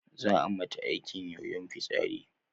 Zaa a mata aikin yoyon fitsari